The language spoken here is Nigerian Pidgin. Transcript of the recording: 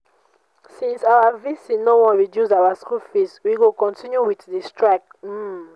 since our vc no wan reduce our school fees we go continue with the strike um